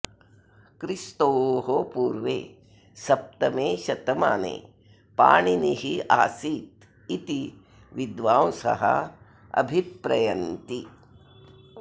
क्रिस्तोः पूर्वे सप्तमे शतमाने पाणिनिः आसीदिति विद्वांसः अभिप्रयन्ति